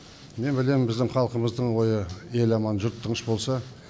мен білем біздің халқымыздың ойы ел аман жұрт тыныш болса